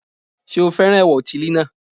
Sé o fẹ́ràn ẹ̀wà òtílí náà